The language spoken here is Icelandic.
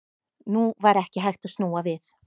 Nú var ekki hægt að snúa við.